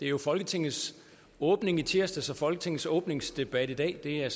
jo folketingets åbning i tirsdags og folketingets åbningsdebat i dag det er